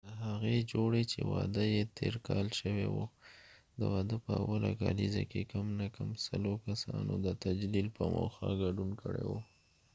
د هغې جوړی چې واده یې تیر کال شوي وه د واده په اوله کالیزه کې کم نه کم سلو کسانو د تجلیل په موخه ګډون کړي و